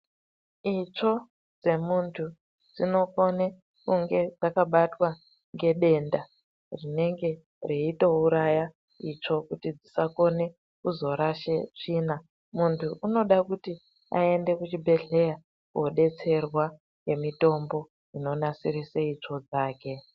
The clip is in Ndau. Itsvo dzemuntu dzinokone kunge dzakabatwa ngedenda rinenge reitouraya itsvo kuti dzisakone kuzorashe tsvina. Muntu unoda kuti aende kuchibhedhleya kobetserwa ngemitombo inonasirise itsvo dzake.